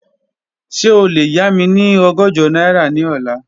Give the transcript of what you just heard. Ṣe o le ya mi ni ọgọ́jọ naira ni ọla?